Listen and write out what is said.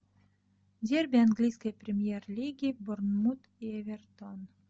дерби английской премьер лиги борнмут и эвертон